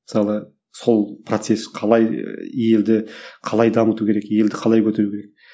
мысалы сол процесс қалай елді қалай дамыту керек елді қалай көтеру керек